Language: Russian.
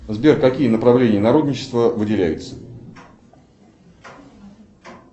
сбер какие направления народничества выделяются